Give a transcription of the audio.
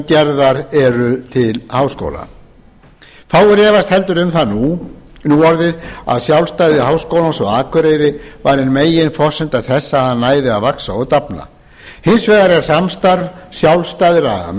gerðar eru til háskóla fáir efast heldur um það nú orðið að sjálfstæði háskólans á akureyri var ein meginforsenda þess að hann næði að vaxa og dafna hins vegar er samstarf sjálfstæðra